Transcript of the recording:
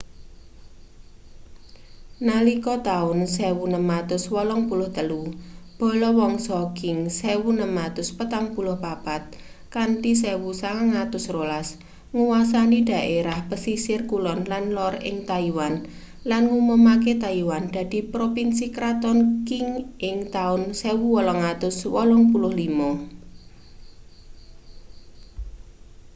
nalika taun 1683 bala wangsa qing 1644-1912 nguwasani dhaerah pesisir kulon lan lor ing taiwan lan ngumumake taiwan dadi propinsi kraton qing ing taun 1885